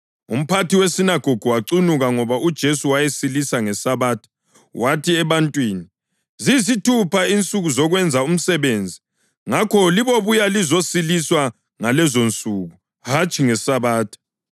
Umphathi wesinagogu wacunuka ngoba uJesu wayesilise ngeSabatha, wathi ebantwini, “Ziyisithupha insuku zokwenza umsebenzi. Ngakho libobuya lizosiliswa ngalezonsuku, hatshi ngeSabatha.”